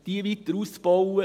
Sie weiter auszubauen …